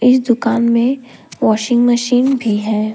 इस दुकान में वाशिंग मशीन भी है।